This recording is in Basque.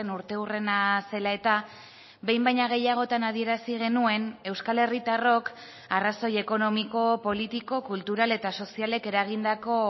urteurrena zela eta behin baino gehiagotan adierazi genuen euskal herritarrok arrazoi ekonomiko politiko kultural eta sozialek eragindako